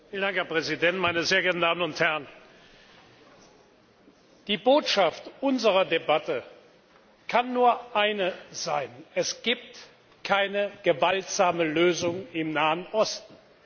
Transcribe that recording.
Vielen Dank, Herr Präsident, meine sehr geehrten Damen und Herren! Die Botschaft unserer Debatte kann nur eine sein Es gibt keine gewaltsame Lösung im Nahen Osten!